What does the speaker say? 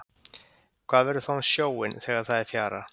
Hvað verður þá um sjóinn þegar það er fjara?